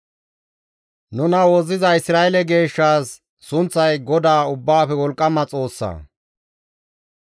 Nuna Wozziza Isra7eele Geeshshaas, sunththay Godaa Ubbaafe Wolqqama Xoossa.